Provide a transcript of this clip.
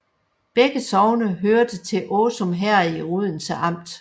Begge sogne hørte til Åsum Herred i Odense Amt